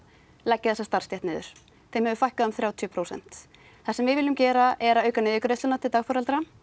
leggja þessa starfstétt niður þeim hefur fækkað um þrjátíu prósent það sem við viljum gera er að auka niðurgreiðsluna til dagforeldra